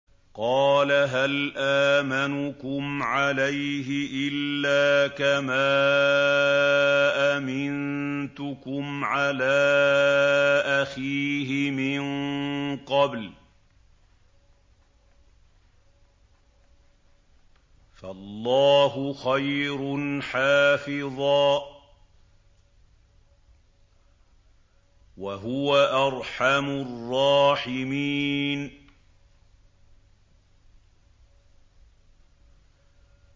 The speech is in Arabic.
قَالَ هَلْ آمَنُكُمْ عَلَيْهِ إِلَّا كَمَا أَمِنتُكُمْ عَلَىٰ أَخِيهِ مِن قَبْلُ ۖ فَاللَّهُ خَيْرٌ حَافِظًا ۖ وَهُوَ أَرْحَمُ الرَّاحِمِينَ